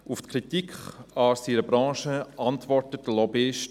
Auf die Kritik an seiner Branche antwortet er: